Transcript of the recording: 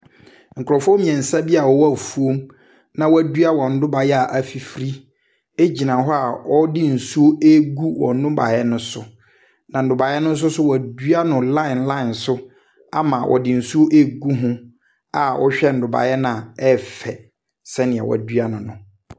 Nkurɔfoɔ mmeɛnsa bi a wɔwɔ afuom na wɔadua wɔn nnɔbaeɛ a afifiri gyina hɔ a wɔde nsuo regu wɔn nnɔbaeɛ no so. Na nnɔbaeɛ no nso so wɔadua no line so ama wɔde nsuo regu ho a wohwɛ nnɔbaeɛ no a ɛyɛ fɛ sɛdeɛ wɔadua no no.